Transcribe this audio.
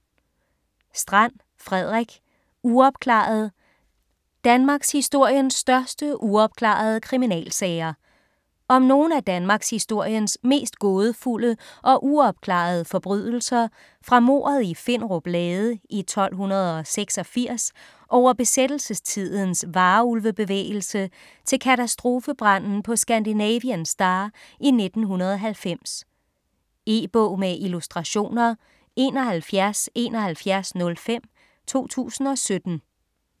Strand, Frederik: Uopklaret: danmarkshistoriens største uopklarede kriminalsager Om nogle af danmarkshistoriens mest gådefulde og uopklarede forbrydelser fra mordet i Finderup Lade i 1286 over besættelsestidens Varulve-bevægelse til katastrofebranden på Scandinavian Star i 1990. E-bog med illustrationer 717105 2017.